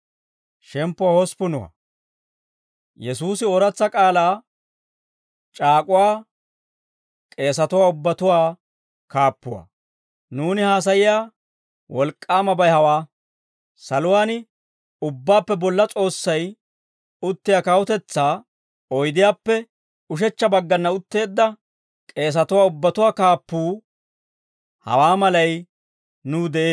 Nuuni haasayiyaa wolk'k'aamabay hawaa; saluwaan Ubbaappe Bolla S'oossay uttiyaa kawutetsaa oydiyaappe ushechcha baggana utteedda k'eesatuwaa ubbatuwaa kaappuu, hawaa malay nuw de'ee.